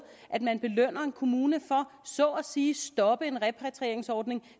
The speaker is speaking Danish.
at man belønner en kommune for så at sige at stoppe en repatrieringsordning